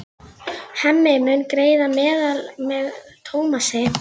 Hemmi mun greiða meðlag með Tómasi.